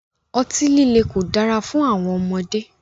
Ọti-lile ko dara fun awọn ọmọde